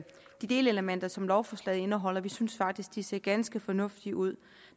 de delelementer som lovforslaget indeholder vi synes faktisk de ser ganske fornuftige ud